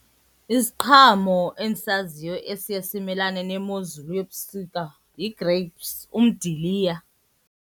Isiqhamo endisaziyo esiye simamelane nemozulu yobusika yi-grapes, umdiliya.